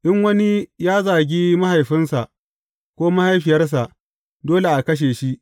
In wani ya zagi mahaifinsa ko mahaifiyarsa, dole a kashe shi.